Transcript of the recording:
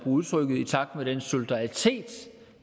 udtrykket i takt med den solidaritet